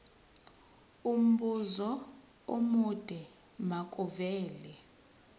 umbuzo omude makuvele